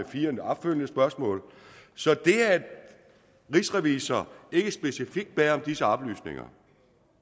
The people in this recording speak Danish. fire opfølgende spørgsmål så det at rigsrevisor ikke specifikt bad om disse oplysninger